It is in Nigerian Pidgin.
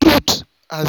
truth um